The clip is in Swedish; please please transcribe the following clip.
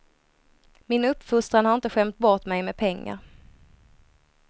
Min uppfostran har inte skämt bort mig med pengar.